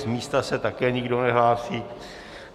Z místa se také nikdo nehlásí.